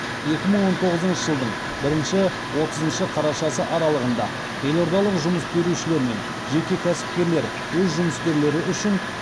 екі мың он тоғызыншы жылдың бірінші отызыншы қарашасы аралығында елордалық жұмыс берушілер мен жеке кәсіпкерлер өз жұмыскерлері үшін